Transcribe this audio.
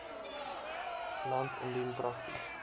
land indien prakties